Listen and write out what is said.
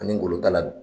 Ani ngolotala